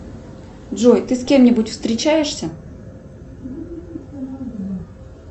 джой ты с кем нибудь встречаешься